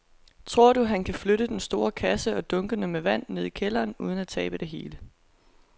Tror du, at han kan flytte den store kasse og dunkene med vand ned i kælderen uden at tabe det hele?